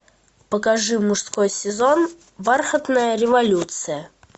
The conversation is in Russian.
покажи мужской сезон бархатная революция